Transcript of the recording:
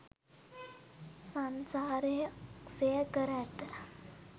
සන්සාරය ක්ෂය කර ඇත.